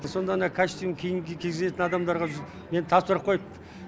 сонда ана костюм киім кигізетін адамдарға мені тапсырып қойыпты